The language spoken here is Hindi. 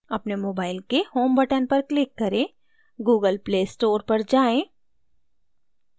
अपने mobile के home button पर click करें>> google play store पर जाएँ>>